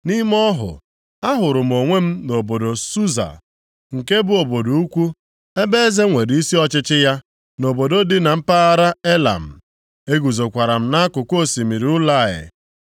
Nʼime ọhụ, ahụrụ m onwe m nʼobodo Susa, nke bụ obodo ukwu ebe eze nwere isi ọchịchị ya, nʼobodo dị na mpaghara Elam. Eguzokwara m nʼakụkụ osimiri Ulai.